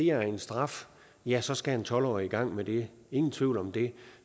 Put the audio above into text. er en straf ja så skal en tolv årig i gang med det ingen tvivl om det